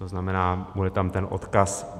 To znamená, bude tam ten odkaz.